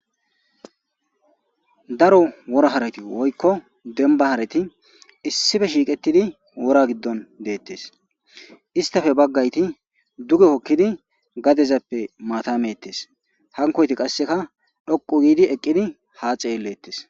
Daro wora hareti woyko demban hareti issipe shiqetidi wora gidon detes isstape bagayti duge hokidi gadezape mata metes hankoyti qaseka dhoqi go eqidi ha xelletes